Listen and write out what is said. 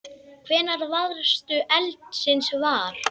Hvenær varðstu eldsins var?